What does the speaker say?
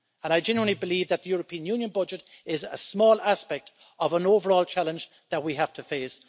I genuinely believe that the European Union budget is a small aspect of an overall challenge that we have to face.